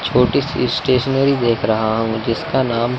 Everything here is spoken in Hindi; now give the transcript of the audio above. छोटी सी स्टेशनरी देख रहा हूं जिसका नाम।